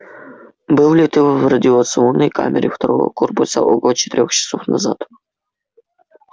был ли ты в радиационной камере второго корпуса около четырёх часов назад